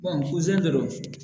dɔrɔn